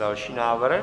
Další návrh.